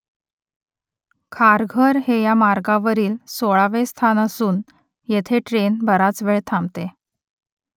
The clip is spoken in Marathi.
खारघर हे या मार्गावरील सोळावे स्थानक असून येथे ट्रेन बराच वेळ थांबते